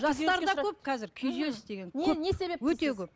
жастарда көп қазір күйзеліс деген өте көп